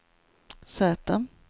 Z